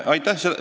Aitäh!